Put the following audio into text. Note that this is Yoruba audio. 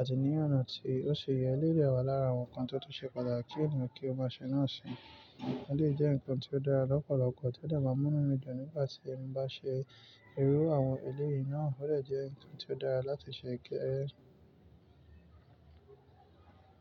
àti ní ọ̀nà tí ó ṣe yẹ. Ilé de wà lára àwọn nǹkan tó tó ṣe pàtàkì ní ènìyàn kí ó máa ṣe náà sì ń ṣe. Ilé jẹ́ nǹkan tí ó dára lọ́pọ̀lọpọ̀ tí ó de maa mu inú mi dun nígbà tí ń bá ṣe irú àwọn ilé yìí náà. Ó rẹ̀ jẹ́ nǹkan tí ó dára láti ṣe kẹ́ẹ́rẹ́.